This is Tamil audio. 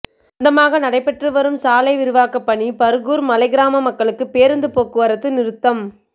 மந்தமாக நடைபெற்று வரும் சாலை விரிவாக்கப் பணி பா்கூா் மலைக் கிராமங்களுக்கு பேருந்துப் போக்குவரத்து நிறுத்தம்